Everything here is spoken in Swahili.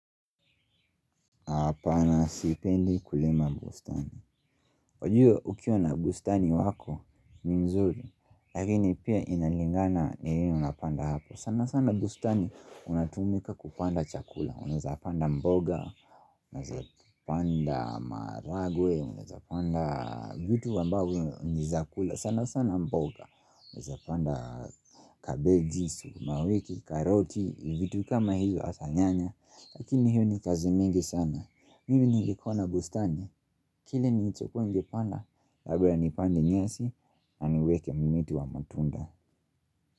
Hapana sipendi kulia bustani wakua ukiwa na bustani wako ni mzuri Lakini pia inalingana nini unapanda hapo sana sana bustani unatumika kupanda chakula Unawezapanda mboga Unazaweza panda maharagwe Unaweza panda vitu ambavyo ni zakula sana sana mboga Unazapanda kabeji, sumawiki, karoti vitu kama hiyo hasa nyanya Lakini hiyo ni kazi mingi sana Mimi nilikuwa na bustani Kile ni cho kuwa panda Laba nipande nyasi na niweke mimiti wa matunda.